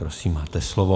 Prosím, máte slovo.